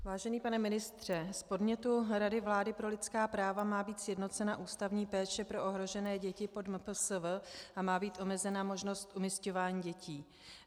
Vážený pane ministře, z podnětu Rady vlády pro lidská práva má být sjednocena ústavní péče pro ohrožené děti pod MPSV a má být omezena možnost umisťování dětí.